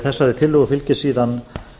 þessari tillögu fylgir síðan